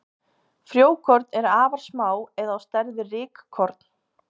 Frjókorn eru afar smá eða á stærð við rykkorn.